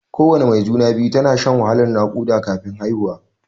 Kowana mai juna-biyu tana shan wahalan naƙuda kafin haihuwa.